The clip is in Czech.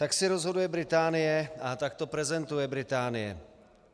Tak si rozhoduje Británie a tak to prezentuje Británie.